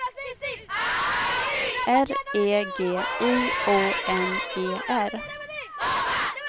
R E G I O N E R